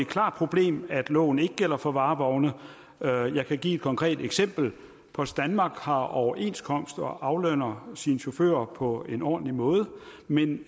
klart problem at loven ikke gælder for varevogne jeg kan give et konkret eksempel post danmark har overenskomst og aflønner sine chauffører på en ordentlig måde men